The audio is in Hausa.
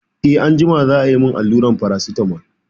Eh anjima za a yi min alluran Paracetamol.